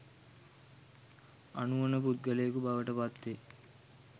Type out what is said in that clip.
අනුවණ පුද්ගලයෙකු බවට පත් වේ